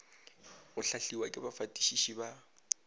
go hlahliwa ke bafatišiši ba